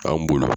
An bolo